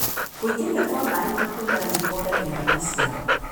Kũingĩria kwa maĩ ma kũigana nĩ kuongagĩrĩra maciaro.